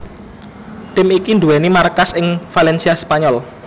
Tim iki nduwèni markas ing Valencia Spanyol